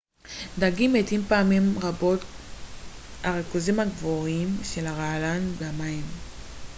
דגים מתים פעמים רבות גלל הריכוזים הגבוהים של הרעלן במים